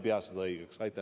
Seda ma õigeks ei pea.